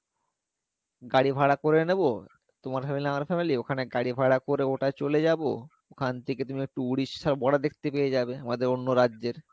গাড়ি ভাড়া করে নেবো তোমার family আমার family ওখানে গাড়ি ভাড়া করে ওটা চলে যাবো ওখান থেকে তুমিই একটু উড়িষ্যার border দেখতে পেয়ে যাবে আমাদের অন্য রাজ্যের